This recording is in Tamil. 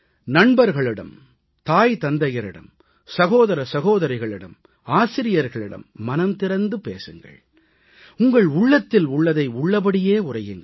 நண்பர்களிடம் தாய்தந்தையரிடம் சகோதரசகோதரிகளிடம் ஆசிரியர்களிடம் மனம் திறந்து பேசுங்கள் உங்கள் உள்ளத்தில் உள்ளதை உள்ளபடியே உரையுங்கள்